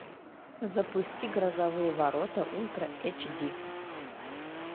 запусти грозовые ворота ультра эйч ди